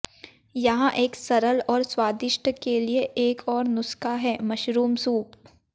यहाँ एक सरल और स्वादिष्ट के लिए एक और नुस्खा है मशरूम सूप